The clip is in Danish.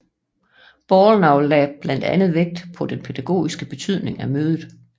Bollnow lagde blandt andet vægt på den pædagogiske betydning af mødet